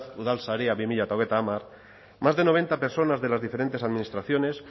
udalsarea dos mil treinta más de noventa personas de las diferentes administraciones